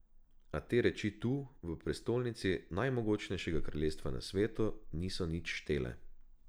A te reči tu, v prestolnici najmogočnejšega kraljestva na svetu, niso nič štele.